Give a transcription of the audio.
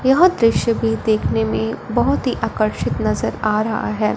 यह दृश्य भी देखने में बहोत ही आकर्षित नजर आ रहा हैं।